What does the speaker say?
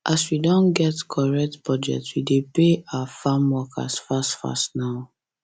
as we don get correct budget we dey pay our farmworkers fast fast now